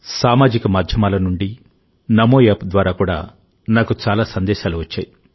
సామాజిక మాధ్యమాల నుండినమో యాప్ ద్వారా కూడా నాకు చాలా సందేశాలు వచ్చాయి